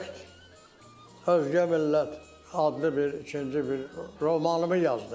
Neft özgə millət adlı bir ikinci bir romanımı yazdım.